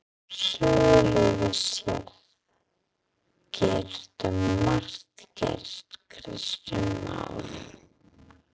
Sögulega séð getur margt gerst Kristján Már?